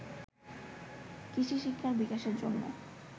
কৃষিশিক্ষার বিকাশের জন্য